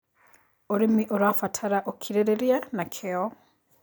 Ũrĩmĩ ũrabatara ũkĩrĩrĩrĩa na kĩo